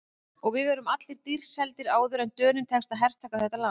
Og við verðum allir dýrt seldir áður en Dönum tekst að hertaka þetta land.